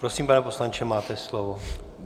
Prosím, pane poslanče, máte slovo.